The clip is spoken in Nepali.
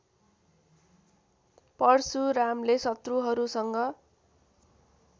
परशुरामले शत्रुहरूसँग